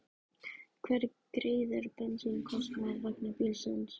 Hver greiðir bensínkostnað vegna bílsins?